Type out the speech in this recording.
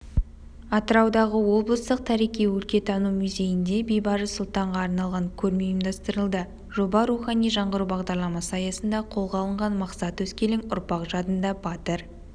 атыраудағы облыстық тарихи-өлкетану музейінде бейбарыс сұлтанға арналған көрме ұйымдастырылды жоба рухани жаңғыру бағдарламасы аясында қолға алынған мақсат өскелең ұрпақ жадында батыр